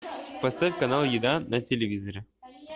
поставь канал еда на телевизоре